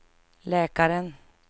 läkaren